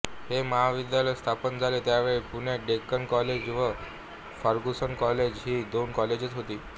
हे महाविद्यालय स्थापन झाले त्यावेळी पुण्यात डेक्कन कॉलेज व फर्गुसन कॉलेज ही दोन कॉलेजेस होती